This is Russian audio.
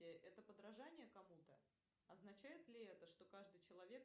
это подражание кому то означает ли это что каждый человек